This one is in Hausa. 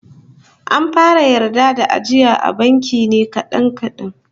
An fara yarda da ajiya a banki ne kadan kadan